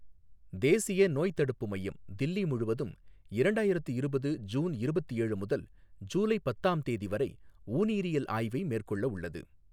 தேசிய நோய்த் தடுப்பு மையம் தில்லி முழுவதும் இரண்டாயிரத்து இருபது ஜூன் இருபத்து ஏழு முதல் ஜூலை பத்தாம் தேதி வரை ஊநீரியல் ஆய்வை மேற்கொள்ளவுள்ளது.